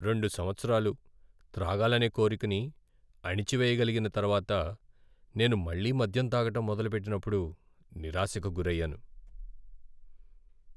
రెండు సంవత్సరాలు త్రాగాలనే కోరికని అణిచివేయగలిగిన తర్వాత నేను మళ్ళీ మద్యం తాగడం మొదలుపెట్టినప్పుడు నిరాశకు గురయ్యాను.